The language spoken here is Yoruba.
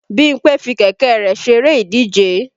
Bímpé fi kẹ̀kẹ́ rẹ̀ ṣeré ìdíje